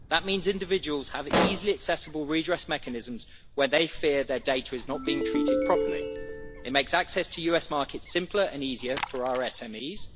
That means individuals have easily accessible redress mechanisms when they fear their data is not being treated properly. It makes access to US markets simpler and easier for our SMEs.